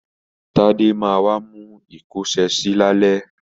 Tádé ma wá mú ìkọ́ṣẹsì lálẹ́.